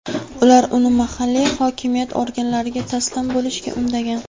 Ular uni mahalliy hokimiyat organlariga taslim bo‘lishga undagan.